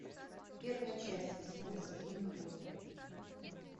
первая часть восьмого сезона годы